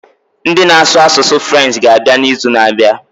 Ndị na asụ asụsụ French ga abịa na izu na abịa